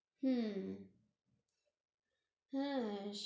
হুঁ হ্যাঁ